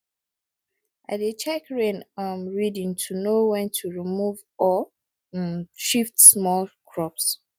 i dey check rain um reading to know when to remove or um shift small crops